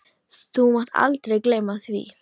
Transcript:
Þú mátt aldrei gleyma því.